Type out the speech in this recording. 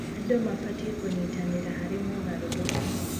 Andũ mabatiĩ kũnyitanĩra harĩ mogarũrũku.